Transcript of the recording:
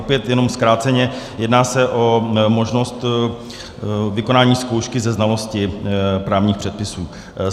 Opět jenom zkráceně, jedná se o možnost vykonání zkoušky ze znalosti právních předpisů.